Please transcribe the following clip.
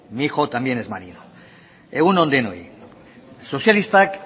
mi hijo también es marino egun on denoi sozialistak